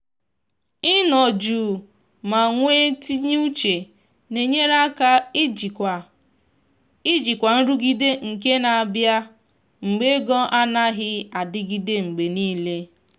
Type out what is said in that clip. ị nọ jụụ ma nwe tinye uche na enyere aka ijikwa ijikwa nrụgide nke na abịa mgbe ego anaghị adịgide mgbe niile